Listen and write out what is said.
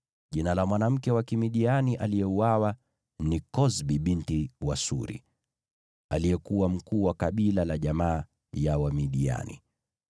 Jina la mwanamke wa Kimidiani aliyeuawa ni Kozbi binti wa Suri, aliyekuwa mkuu wa kabila la jamaa ya Wamidiani.